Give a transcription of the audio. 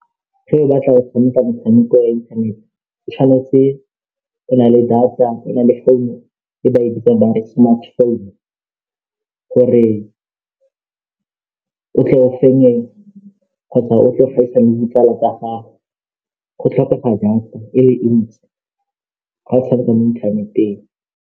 Ge o batla go tshameka metshameko e free, o tshwanetse o na le data, o na le phone e ba e bitsang ba re Smartphone gore o tle o fenye kgotsa o tle o le ditsala tsa gago go tlhokega data e ntsi ga o tshameka mo inthaneteng.